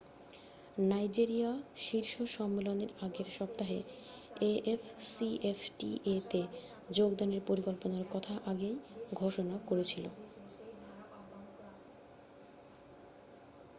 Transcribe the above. Nigeria শীর্ষ সম্মেলনের আগের সপ্তাহে afcfta-তে যোগদানের পরিকল্পনার কথা আগেই ঘোষণা করেছিলো।